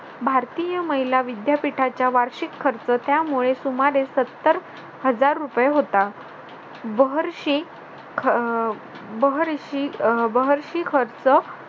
भारतीय महिला विद्यापीठाच्या वार्षिक खर्च त्यामुळे सुमारे सत्तर हजार रुपये होता. बहर्षी अह बहर्षी अह बहर्षी खर्च